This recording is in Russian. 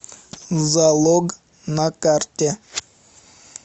залог на карте